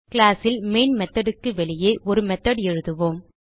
class ல் main method க்கு வெளியே ஒரு மெத்தோட் எழுதுவோம்